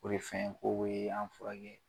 O de fɛn ko be an furakɛ.